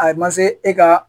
A man se e ka